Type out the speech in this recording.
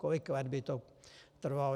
Kolik let by to trvalo?